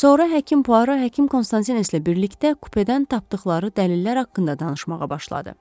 Sonra həkim Puaro həkim Konstantinlə birlikdə kupedən tapdıqları dəlillər haqqında danışmağa başladı.